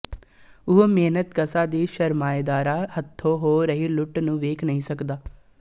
ਉਹ ਮਿਹਨਤਕਸ਼ਾ ਦੀ ਸਰਮਾਏਦਾਰਾਂ ਹੱਥੋਂ ਹੋ ਰਹੀ ਲੁਟ ਨੂੰ ਵੇਖ ਨਹੀਂ ਸਕਦਾ